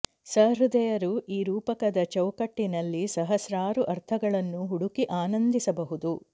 ಸಹೃದಯರು ಈ ರೂಪಕದ ಚೌಕಟ್ಟಿನಲ್ಲಿ ಸಹಸ್ರಾರು ಅರ್ಥಗಳನ್ನು ಹುಡುಕಿ ಆನಂದಿಸಬುದು